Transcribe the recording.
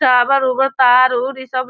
tower उबर तार उर इ सब --